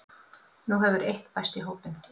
Nú hefur eitt bæst í hópinn